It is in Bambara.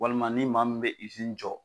Walima ni maa min bɛ jɔ.